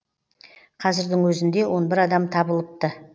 қазірдің өзінде он бір адам табылыпты